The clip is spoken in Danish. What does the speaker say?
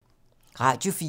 Radio 4